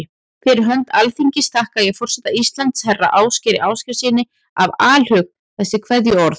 Fyrir hönd Alþingis þakka ég forseta Íslands, herra Ásgeiri Ásgeirssyni, af alhug þessi kveðjuorð.